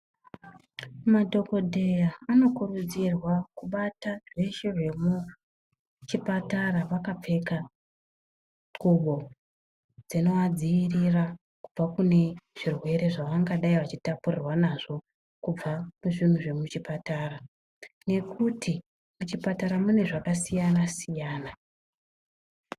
Madhokodheya anokurudzirwa kubata zveshe zvemuchipatara vakapfeka ngubo dzinovadziirira kubva kune zvirwere zvavangadai vachitapurirwa nazvo kubva muzvinhu zvemuchipatara nekuti ,muchipatara munezvakasiyana siyana.